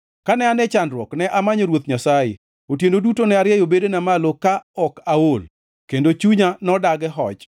Kane an e chandruok, ne amanyo Ruoth Nyasaye; otieno duto ne arieyo bedena malo ma ok aol, kendo chunya nodagi hoch.